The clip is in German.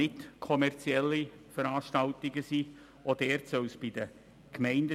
Bei kommerziellen Veranstaltungen ist dies zu Recht bereits der Fall.